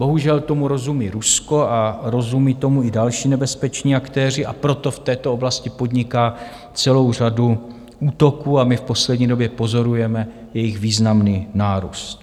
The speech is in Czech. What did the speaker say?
Bohužel tomu rozumí Rusko a rozumí tomu i další nebezpeční aktéři, a proto v této oblasti podniká celou řadu útoků, a my v poslední době pozorujeme jejich významný nárůst.